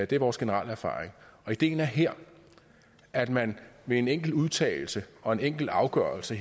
det er vores generelle erfaring ideen er her at man med en enkelt udtalelse og en enkelt afgørelse